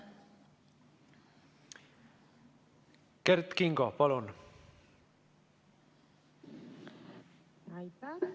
Kert Kingo, palun!